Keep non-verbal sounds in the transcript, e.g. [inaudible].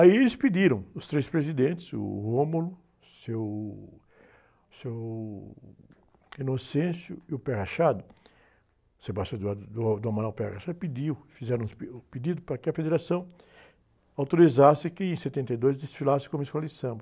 Aí eles pediram, os três presidentes, o, [unintelligible] o seu, o seu [unintelligible] e o, [unintelligible] o, [unintelligible] pediu, fizeram os, [unintelligible] um pedido para que a federação autorizasse que em setenta e dois desfilasse como Escola de Samba.